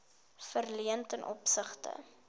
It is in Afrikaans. verleen ten opsigte